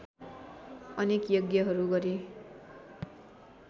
अनेक यज्ञहरू गरे